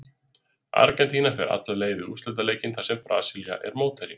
Argentína fer alla leið í úrslitaleikinn þar sem Brasilía er mótherjinn.